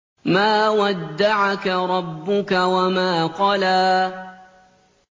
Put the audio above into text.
مَا وَدَّعَكَ رَبُّكَ وَمَا قَلَىٰ